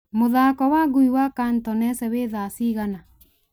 mũthako wa ngui wa cantonese wĩ thaa cigana